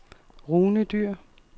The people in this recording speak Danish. Rune Dyhr